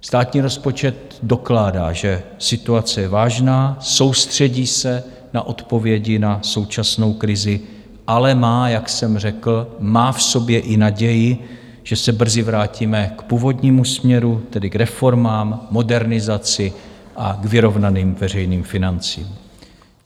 Státní rozpočet dokládá, že situace je vážná, soustředí se na odpovědi na současnou krizi, ale má, jak jsem řekl, má v sobě i naději, že se brzy vrátíme k původnímu směru, tedy k reformám, modernizaci a k vyrovnaným veřejným financím.